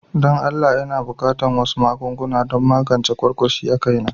Don Allah n'na buƙatan wasu magunguna don magance kwarkwashi a kai na.